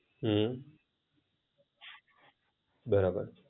હમ બરાબર